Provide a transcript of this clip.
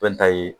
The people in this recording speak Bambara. Bɛɛ n ta ye